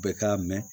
Bɛɛ k'a mɛn